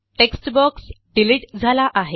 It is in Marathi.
टेक्स्ट बॉक्स डिलिट झाला आहे